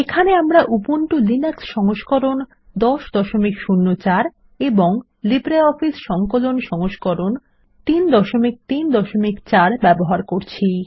এখানে আমরা Ubuntu Linux সংস্করণ 1004 এবং লিব্রিঅফিস সংকলন সংস্করণ 334 ব্যবহার করছি